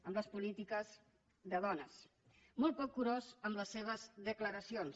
amb les polítiques de dones molt poc curós amb les seves declaracions